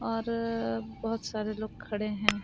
और बहुत सारे लोग खड़े है ।--